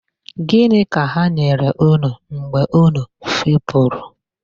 Gịnị ka ha nyere unu mgbe unu fepụrụ.